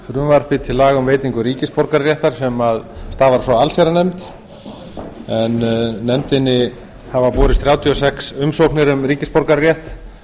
frumvarpi til laga um veitingu ríkisborgararéttar sem stafar frá allsherjarnefnd en nefndinni hafa borist þrjátíu og sex umsóknir um ríkisborgararétt